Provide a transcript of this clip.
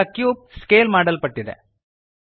ಈಗ cube scale ಮಾಡಲ್ಪಟ್ಟಿದೆ